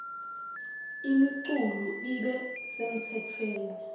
imiculu ibe semtsetfweni